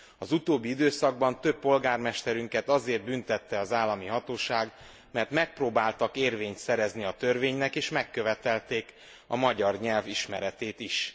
Az utóbbi időszakban több polgármesterünket azért büntette az állami hatóság, mert megpróbáltak érvényt szerezni a törvénynek és megkövetelték a magyar nyelv ismeretét is.